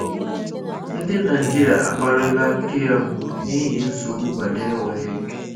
Ndi Naịjịrịa akpari la Keyamo na ihi nsogbu banyere WAEC